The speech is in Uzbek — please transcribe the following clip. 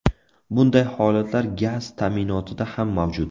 Bunday holatlar gaz ta’minotida ham mavjud.